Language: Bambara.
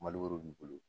Mali b'i bolo